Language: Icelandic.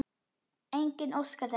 Enginn óskar þess.